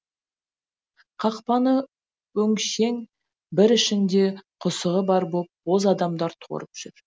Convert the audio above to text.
қақпаны өңшең бір ішінде құсығы бар боп боз адамдар торып жүр